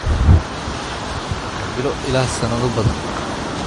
Marxaladani waxay socon kartaa bilo ilaa sanado badan.